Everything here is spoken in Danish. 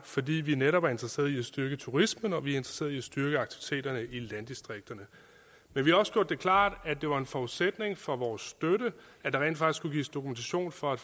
fordi vi netop er interesseret i at styrke turismen og vi er interesseret i at styrke aktiviteterne i landdistrikterne men vi har også gjort det klart at det var en forudsætning for vores støtte at der rent faktisk kunne gives dokumentation for at